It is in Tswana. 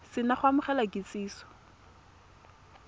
se na go amogela kitsiso